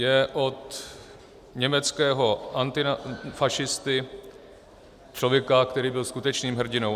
Je od německého antifašisty, člověka, který byl skutečným hrdinou.